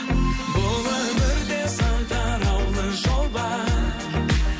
бұл өмірде сан тараулы жол бар